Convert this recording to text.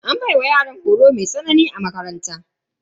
An baiwa yaran horo mai tsanani a makaranta.